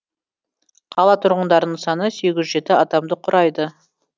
қала тұрғындарының саны сегіз жүз жеті адамды құрайды